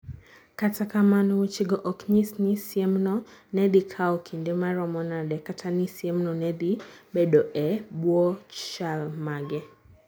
Kata kamano, wechego ok nyis ni siemno ne dhi kawo kinde maromo nade, kata ni siemno ne dhi bedoe e bwo chal mage.